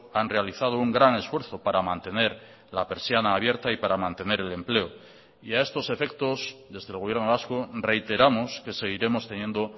han realizado un gran esfuerzo para mantener la persiana abierta y para mantener el empleo y a estos efectos desde el gobierno vasco reiteramos que seguiremos teniendo